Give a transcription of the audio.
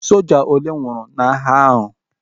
Soja ole nwụrụ n'agha ahu?